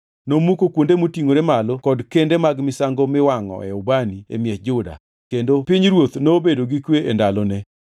Nomuko kuonde motingʼore malo kod kende mag misango miwangʼoe ubani e miech Juda, kendo pinyruoth nobedo gi kwe e ndalone.